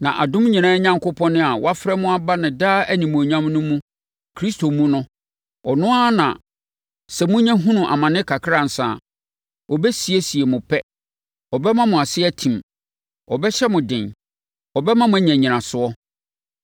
Na adom nyinaa Onyankopɔn a wafrɛ mo aba ne daa animuonyam no mu Kristo mu no, ɔno ara na sɛ monya hunu amane kakra ansa a, ɔbɛsiesie mo pɛ; ɔbɛma mo ase atim; ɔbɛhyɛ mo den; ɔbɛma mo anya nnyinasoɔ.